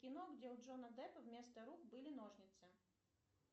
кино где у джонни деппа вместо рук были ножницы